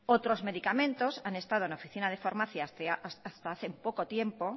otros medicamentos han estado en la oficina de farmacia hasta hace poco tiempo